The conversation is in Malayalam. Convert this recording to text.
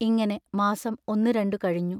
ഇങ്ങനെ മാസം ഒന്നുരണ്ടു കഴിഞ്ഞു.